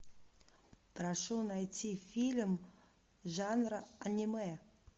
прошу найти фильм жанра аниме